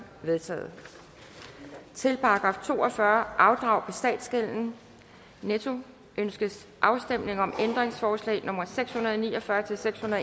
vedtaget til § to og fyrre afdrag på statsgælden ønskes afstemning om ændringsforslag nummer seks hundrede og ni og fyrre til fem og